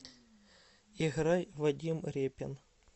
играй вадим репин